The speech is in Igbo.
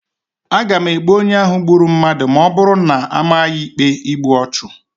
A ga-egbu onye ahụ gburu mmadụ ma ọ bụrụ na a maa ya ikpe igbu ọchụ.